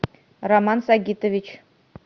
роман сагитович